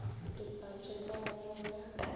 dipatše ka ge go be